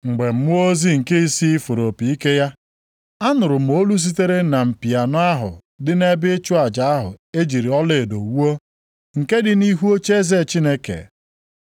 Mgbe mmụọ ozi nke isii fụrụ opi ike ya, anụrụ m olu sitere na mpi anọ ahụ dị nʼebe ịchụ aja ahụ e jiri ọlaedo wuo, nke dị nʼihu ocheeze Chineke,